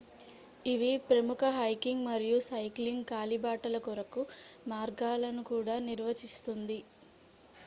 ఇవి ప్రముఖ హైకింగ్ మరియు సైక్లింగ్ కాలిబాటల కొరకు మార్గాలను కూడా నిర్వచిస్తుంది